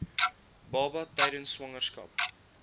baba tydens swangerskap